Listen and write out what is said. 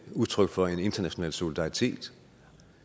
udtryk for en international solidaritet